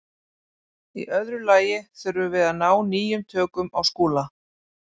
Í öðru lagi þurfum við að ná nýjum tökum á Skúla.